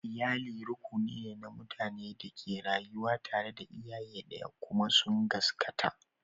Iyali rukuni ne na mutanen da ke rayuwa tare da iyaye ɗaya kuma sun gaskata.